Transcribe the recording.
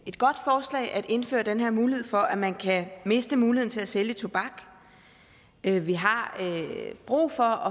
indføre den her mulighed for at man kan miste muligheden for at sælge tobak vi vi har brug for